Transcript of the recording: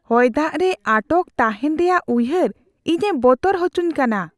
ᱦᱚᱭᱫᱟᱜ ᱨᱮ ᱟᱴᱚᱠ ᱛᱟᱦᱮᱱ ᱨᱮᱭᱟᱜ ᱩᱭᱦᱟᱹᱨ ᱤᱧᱮ ᱵᱚᱛᱚᱨ ᱟᱪᱚᱧ ᱠᱟᱱᱟ ᱾